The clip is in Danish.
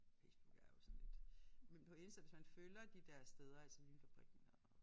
Facebook er jo sådan lidt men på Insta hvis man følger de der steder altså LYNfabrikken og